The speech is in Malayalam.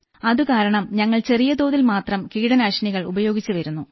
അതുകാരണം ഞങ്ങൾ ചെറിയതോതിൽ മാത്രം കീടനാശിനികൾ ഉപയോഗിച്ചു വരുന്നു